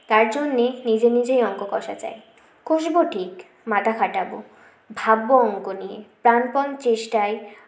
তাই জন্যে নিজে নিজেই অঙ্ক কষা চাই কষবো ঠিক মাথা খাটাবো ভাববো অঙ্ক নিয়ে প্রানপন চেষ্টায়